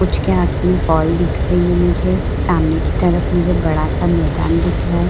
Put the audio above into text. उचके हाथ में बॉल दिख रही हैं मुझे। सामने की तरफ मुझे बड़ा सा मैदान दिख रहा है।